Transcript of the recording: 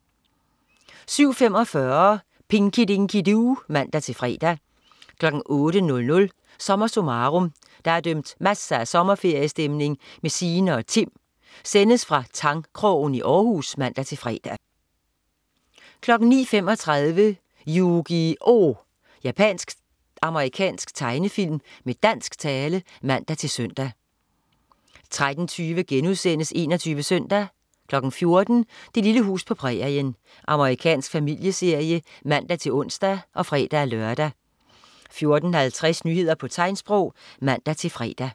07.45 Pinky Dinky Doo (man-fre) 08.00 SommerSummarum. Der er dømt masser af sommerferiestemning med Sine og Tim. Sendes fra Tangkrogen i Århus (man-fre) 09.35 Yu-Gi-Oh! Japansk-amerikansk tegnefilm med dansk tale (man-søn) 13.20 21 Søndag* 14.00 Det lille hus på prærien. Amerikansk familieserie (man-ons og fre-lør) 14.50 Nyheder på tegnsprog (man-fre)